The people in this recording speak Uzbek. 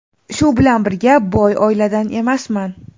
Shu bilan birga, boy oiladan emasman.